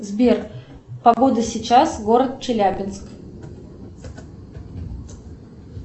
сбер погода сейчас город челябинск